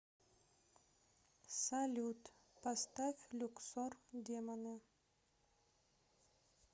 салют поставь люксор демоны